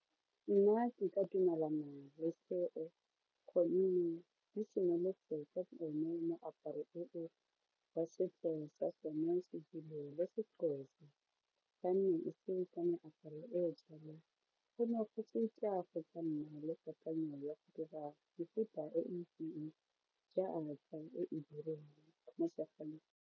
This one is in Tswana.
Nna ke ka dumela gonne di simolotse ka tsone moaparo o wa setso sa sone seZulu seXhosa go ka nna le kakanyo ya go dira mefuta e jaaka e e dirwang mo .